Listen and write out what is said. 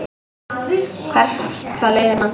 Hvert það leiðir mann.